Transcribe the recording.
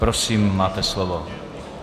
Prosím, máte slovo.